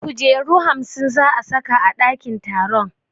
Kujeru hamsin za a saka a ɗakin taron